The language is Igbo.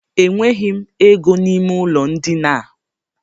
E nweghị m ego n'ime ụlọ ndina a.